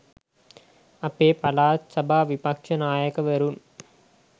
අපේ පළාත් සභා විපක්ෂ නායකවරුන්